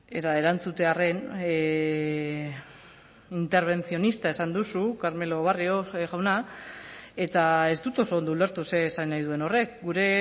eta erantzutearren intervencionista esan duzu carmelo barrio jauna eta ez dut oso ondo ulertu zer esan nahi duen horrek gure